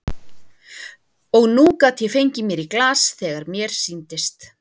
Og nú gat ég fengið mér í glas þegar mér sýndist.